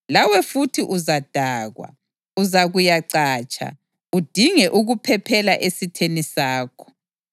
Lawe futhi uzadakwa; uzakuyacatsha udinge ukuphephela esitheni sakho.